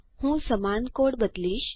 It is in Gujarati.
હું સમાન કોડ બદલીશ